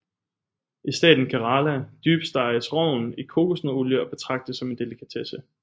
I staten Kerala dybsteges rogn i kokosnøddeolie og betragtes som en delikatesse